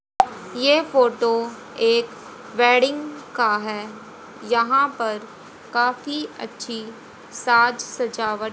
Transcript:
ये फोटो एक वेडिंग का है यहां पर काफी अच्छी साज सजावट--